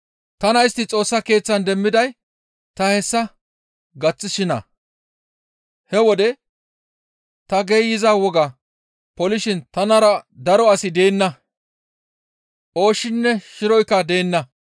Tana istti Xoossa Keeththan demmiday ta hessa gaththishinna; he wode ta geeyza wogaa polishin tanara daro asi deenna; ooshshinne shiroykka deenna.